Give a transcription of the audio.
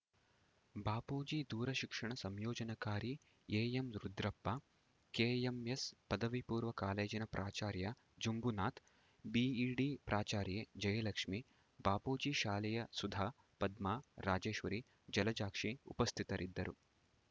ಬಾಪೂಜಿ ದೂರಶಿಕ್ಷಣ ಸಂಯೋಜನಾಕಾರಿ A M Rudrappa KMS ಪದವಿಪೂರ್ವ ಕಾಲೇಜಿನ ಪ್ರಾಚಾರ್ಯ ಜುಂಬುನಾಥ್‌ ಬಿಇಡಿ ಪ್ರಾಚಾರ್ಯೆ ಜಯಲಕ್ಷ್ಮೀ ಬಾಪೂಜಿ ಶಾಲೆಯ ಸುಧಾ ಪದ್ಮಾ ರಾಜೇಶ್ವರಿ ಜಲಜಾಕ್ಷಿ ಉಪಸ್ಥಿತರಿದ್ದರು